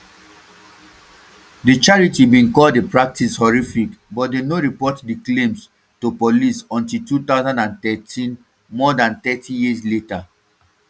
di charity bin call di practice horrific but dem no report di claims um to police until two thousand and thirteen more dan thirty years later